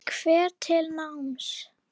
Hvetur til náms.